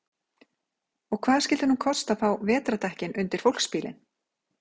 Og hvað skyldi nú kosta að fá vetrardekkin undir fólksbílinn?